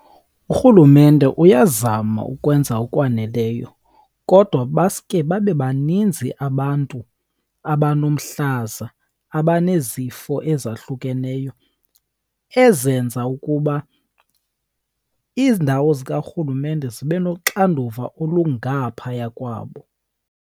Urhulumente uyazama ukwenza okwaneleyo kodwa baske babe baninzi abantu abanomhlaza, abanezifo ezahlukeneyo ezenza ukuba iindawo zikarhulumente zibe noxanduva olungaphaya kwabo.